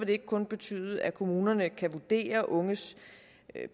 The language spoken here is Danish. det ikke kun betyde at kommunerne kan vurdere unges